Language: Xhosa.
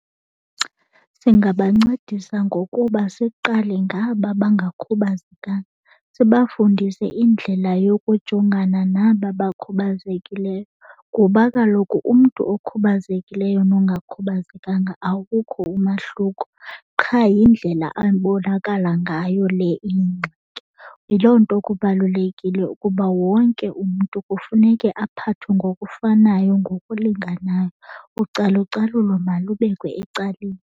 Singabancedisa ngokuba siqale ngaba bangakhubazekanga sibafundise indlela yokujongana naba bakhubazekileyo, kuba kaloku umntu okhubazekileyo nongakhubazekanga awukho umahluko qha yindlela abonakala ngayo le iyingxaki. Yiloo nto kubalulekile ukuba wonke umntu kufuneke aphathwe ngokufanayo, ngokulinganayo, ucalucalulo malubekwe ecaleni.